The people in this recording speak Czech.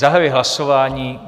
Zahajuji hlasování.